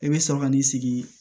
I bɛ sɔrɔ ka n'i sigi